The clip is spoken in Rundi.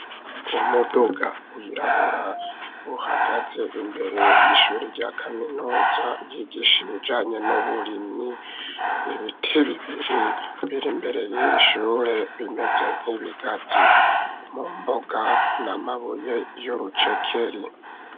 Umuduga wirabura uhagaze imbere y'ishuri rya kaminuza y'igishe bijanye n'uburimyi ibiti bibiri biri mbere y'ishure bimeze nk'ibigazi mu mboga n'amabuye y'urucekeri.